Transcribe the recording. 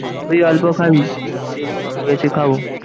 তুই অল্প খাবি। আমি বেশি খাবো।